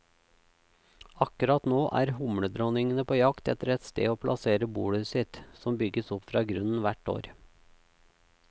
Akkurat nå er humledronningene på jakt etter et sted å plassere bolet sitt, som bygges opp fra grunnen hvert år.